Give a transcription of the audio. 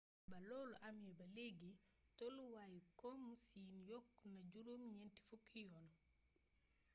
ba loolu amee ba léegi tolluwaayu komu siin yokku na juróom ñenti fukki yoon